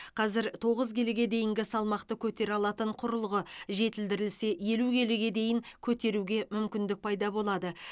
қазір тоғыз келіге дейінгі салмақты көтере алатын құрылғы жетілдірілсе елу келіге дейін көтеруге мүмкіндік пайда болады